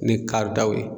Ni karidaw ye